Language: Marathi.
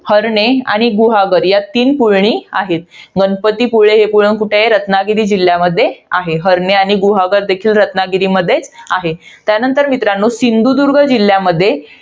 हरणे आणि गुहागर. या तील पुळणी आहेत. गणपतीपुळे हे पुळण कुठे आहे? रत्नागिरी जिल्ह्यामध्ये आहे. हरणे आणि गुहागर देखील रत्नागिरीमध्ये आहे. त्यानंतर मित्रांनो, सिंधुदुर्ग जिल्ह्यामध्ये